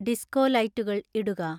disco ലൈറ്റുകൾ ഇടുക